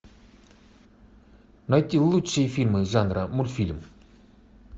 найти лучшие фильмы жанра мультфильм